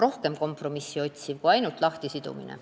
Asi pole pelgalt lahtisidumises.